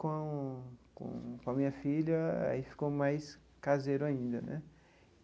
Com com com a minha filha, aí ficou mais caseiro ainda né.